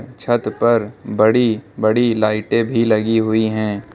छत पर बड़ी बड़ी लाइटे भी लगी हुई है।